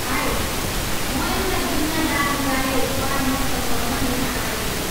High, म एउटा बिमा दावीबारे परामर्श गर्न यहाँ आएको छु।